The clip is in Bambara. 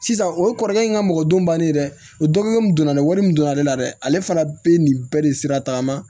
Sisan o ye kɔrɔkɛ in ka mɔgɔ don bannen ye dɛ o dɔnko min don na ni wari min donna ale la dɛ ale fana bɛ nin bɛɛ de sira tagama